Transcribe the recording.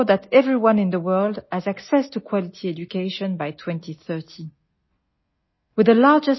ইউনেস্কোৱে ইয়াৰ সদস্য ৰাষ্ট্ৰসমূহৰ সৈতে কাম কৰি আছে যাতে ২০৩০ চনৰ ভিতৰত বিশ্বৰ সকলোৱে মানদণ্ডৰ শিক্ষা প্ৰাপ্ত কৰিব পাৰে